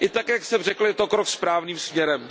I tak, jak jsem řekl, je to krok správným směrem.